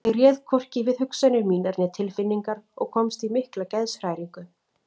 Ég réð hvorki við hugsanir mínar né tilfinningar og komst í mikla geðshræringu.